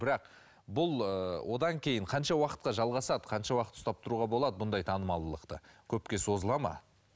бірақ бұл ыыы одан кейін қанша уақытқа жалғасады қанша уақыт ұстап тұруға болады бұндай танымалдылықты көпке созылады ма